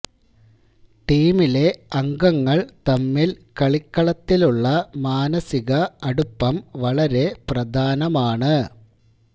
ടീമിലെ അംഗങ്ങള് തമ്മില് കളിക്കളത്തിലുള്ള മാനസിക അടുപ്പം വളരെ പ്രധാനമാണ്